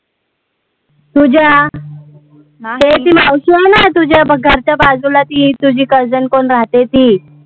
तुझ्या. ते ती मावशी आहे ना तुझ्या घरच्या बाजूला ती तुझी cousin कोण राहते ती